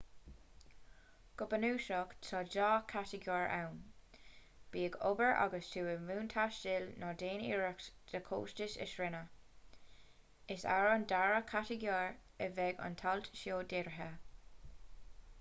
go bunúsach tá dhá chatagóir ann bí ag obair agus tú i mbun taistil nó déan iarracht do chostais a shrianadh is ar an dara chatagóir a bheidh an t-alt seo dírithe